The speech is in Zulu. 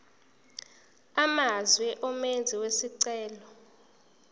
amazwe umenzi wesicelo